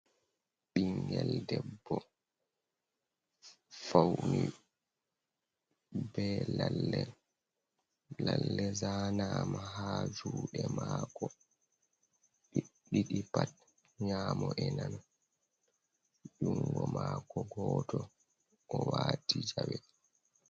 Ɓinngel debbo fauni be lalle, lalle zanama ha juuɗe mako ɗiɗi pat, nyamo e nano jungo mako goto o wati jawe.